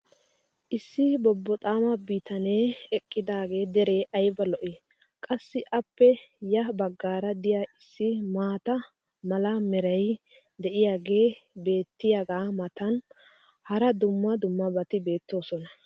issi bobboxaama bitanee eqqidaagee deree ayba lo'ii! qassi appe ya bagaara diya issi maata mala meray diyaagee beetiyaagaa matan hara dumma dummabati beetoosona.